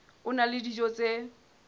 a na le dijo tse